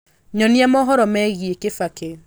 nyonia mohoro megie kibaki